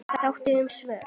Fátt um svör.